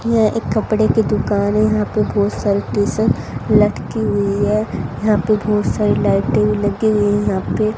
यह एक कपड़े की दुकान है यहां पे बहुत सारी टी शर्ट लटकी हुई है यहां पेबहुत सारी लाइटे भी लगी हुई है यहां पे --